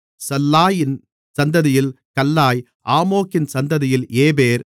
சல்லாயின் சந்ததியில் கல்லாய் ஆமோக்கின் சந்ததியில் ஏபேர்